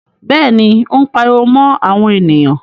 Bẹ́ẹ̀ni, Ó ń pariwo mọ́ àwọn ènìyàn.